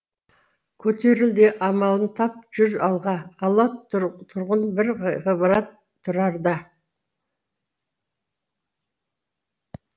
көтеріл де амалын тап жүр алға ала тұрғын бір ғибрат тұрарда